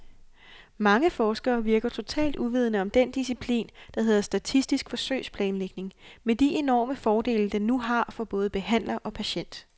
Mange forskere virker totalt uvidende om den disciplin, der hedder statistisk forsøgsplanlægning, med de enorme fordele, den nu har for både behandler og patient.